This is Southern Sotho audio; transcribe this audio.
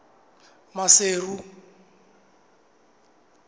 maseru